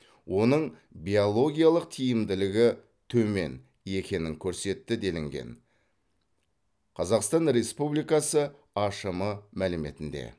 оның биологиялық тиімділігі төмен екенін көрсетті делінген қазақстан республикасы ашм мәліметінде